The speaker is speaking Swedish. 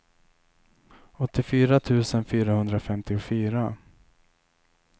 åttiofyra tusen fyrahundrafemtiofyra